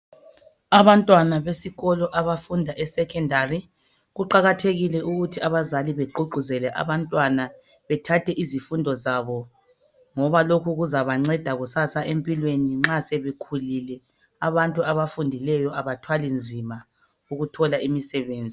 Abantwana besikolo abafunda e (Secondary) . Kuqakathekile ukuthi abazali begqugquzele abantwana bethathe izifundo zabo ngoba lokhu kuzabanceda kusasa empilweni nxa sebekhulile . Abantu abafundileyo abathwali nzima ukuthola imisebenzi.